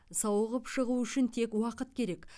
сауығып шығу үшін тек уақыт керек